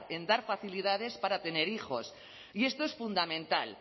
en dar facilidades para tener hijos y esto es fundamental